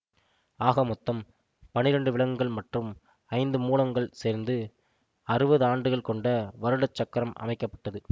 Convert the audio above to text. ஆக மொத்தம் பன்னிரெண்டு விலங்குகள் மற்றும் ஐந்து மூலங்கள் சேர்ந்து அறுபது ஆண்டுகள் கொண்ட வருட சக்கரம் அமைக்க பட்டது